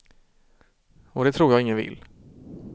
Och det tror jag ingen vill.